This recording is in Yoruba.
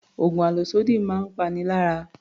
Oògùn àlòsódì máa ń pani lára